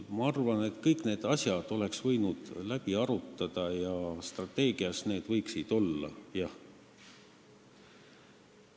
Ma arvan, et kõik need asjad oleks võinud läbi arutada ja need võiksid strateegias olla.